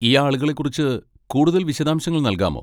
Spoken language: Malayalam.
ഈ ആളുകളെ കുറിച്ച് കൂടുതൽ വിശദാംശങ്ങൾ നൽകാമോ?